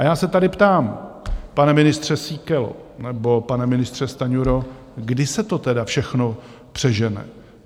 A já se tady ptám, pane ministře Síkelo nebo pane ministře Stanjuro, kdy se to tedy všechno přežene?